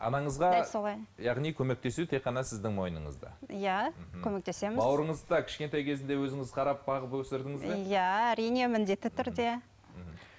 анаңызға дәл солай яғни көмектесу тек қана сіздің мойныңызда иә мхм көмектесеміз бауырыңызды да кішкентай кезінде өзіңіз қарап бағып өсірдіңіз бе иә әрине міндетті түрде мхм